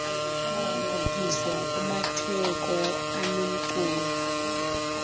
lalibhekiswa kumatheko anomculo